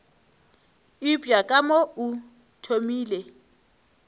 eupša ka mo o thomile